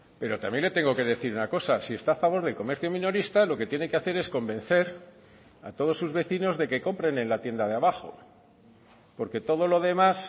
pero también le tengo que decir una cosa si está a favor del comercio minorista lo que tiene que hacer es convencer a todos sus vecinos de que compren en la tienda de abajo porque todo lo demás